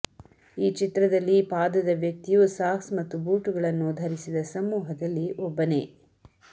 ಈ ಚಿತ್ರದಲ್ಲಿ ಪಾದದ ವ್ಯಕ್ತಿಯು ಸಾಕ್ಸ್ ಮತ್ತು ಬೂಟುಗಳನ್ನು ಧರಿಸಿದ ಸಮೂಹದಲ್ಲಿ ಒಬ್ಬನೇ